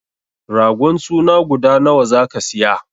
Ragon suna guda nawa zaka siya?